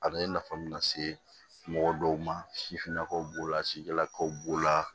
A bɛ nafa mun lase mɔgɔ dɔw ma sifinnakaw b'o la sijalakaw b'o la